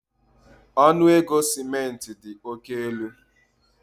Ọnụ ego simenti dị oke elu